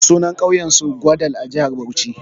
Sunan ƙauyen su Gwadal a jihar Bauchi.